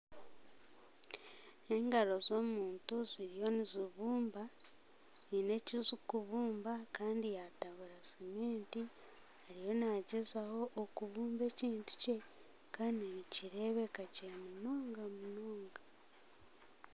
N'engaro z'omuntu ziriyo nizibumba hiine eki zikubumba Kandi yatabura siminti ariyo nagyezaho kubumba ekintu kye Kandi nikirebeka gye munonga munonga .